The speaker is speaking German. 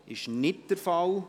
– Das ist nicht der Fall.